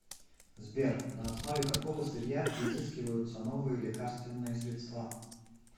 сбер на основе какого сырья изыскиваются новые лекарственные средства